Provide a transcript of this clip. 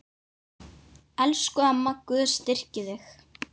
Elsku amma, Guð styrki þig.